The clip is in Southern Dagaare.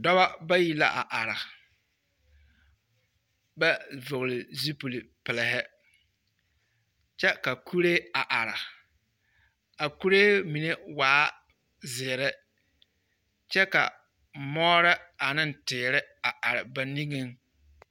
Dɔbɔ bayi la a are, ba vɔgele zulpili pelehe, kyɛ ka kuree a are. A kuree mine waa zeere kyɛ ka moore ane teere a are ba niŋeŋ.